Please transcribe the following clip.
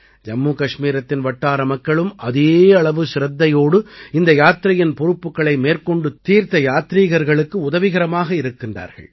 ஜம்மு கஷ்மீரத்தின் வட்டார மக்களும் அதே அளவு சிரத்தையோடு இந்த யாத்திரையின் பொறுப்புக்களை மேற்கொண்டு தீர்த்த யத்திரிகர்களுக்கு உதவிகரமாக இருக்கின்றார்கள்